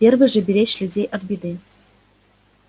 первый же беречь людей от беды